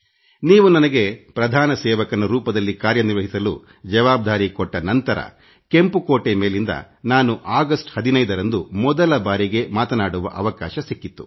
ನೀವು ನನಗೆ ಪ್ರಧಾನ ಸೇವಕನ ರೂಪದಲ್ಲಿ ಕಾರ್ಯನಿರ್ವಹಿಸಲು ಜವಾಬ್ದಾರಿ ಕೊಟ್ಟ ನಂತರ ಕೆಂಪು ಕೋಟೆ ಮೇಲಿಂದ ನಾನು ಆಗಸ್ಟ್ 15 ರಂದು ಮೊದಲ ಬಾರಿಗೆ ಮಾತಾಡುವ ಅವಕಾಶ ಸಿಕ್ಕಿತ್ತು